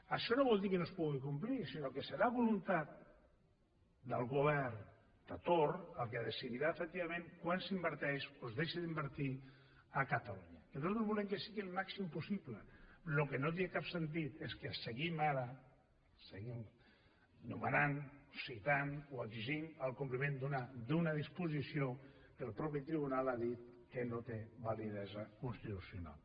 això no vol dir que no es pugui complir sinó que serà voluntat del govern de torn que decidirà efectivament quant s’inverteix o es deixa d’invertir a catalunya perquè nosaltres volem que sigui el màxim possible el que no té cap sentit és que seguim ara seguim nomenant citant o exigint el compliment d’una disposició que el propi tribunal ha dit que no té validesa constitucional